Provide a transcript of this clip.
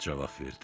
cavab verdi.